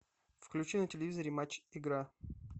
включи на телевизоре матч игра